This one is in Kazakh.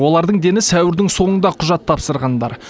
олардың дені сәуірдің соңында құжат тапсырғандар